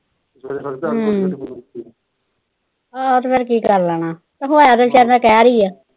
ਹੂੰ ਤੇ ਫਿਰ ਕੀ ਕਰ ਲੈਣਾ ਤੇ ਹੋਇਆ ਤਾਂ ਵਿਚਾਰੀ ਨਾਲ ਕਹਿਰ ਈ ਆ।